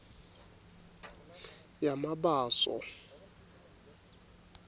yamabaso